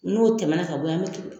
N'o tɛmɛ na ka bɔ ye an bɛ tugu